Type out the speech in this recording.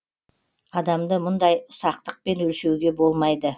адамды мұндай ұсақтықпен өлшеуге болмайды